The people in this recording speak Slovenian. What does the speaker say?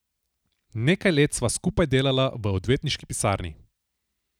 Nekaj let sva skupaj delala v odvetniški pisarni.